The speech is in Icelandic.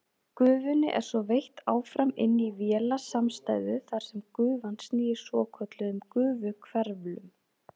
Gufunni er svo veitt áfram inn í vélasamstæðu þar sem gufan snýr svokölluðum gufuhverflum.